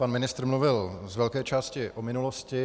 Pan ministr mluvil z velké části o minulosti.